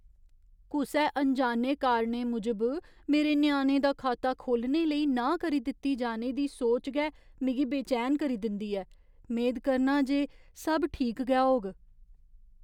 कुसै अनजाने कारणें मूजब मेरे ञ्याणे दा खाता खोह्लने लेई नांह् करी दित्ती जाने दी सोच गै मिगी बेचैन करी दिंदी ऐ। मेद करना आं जे सब ठीक गै होग।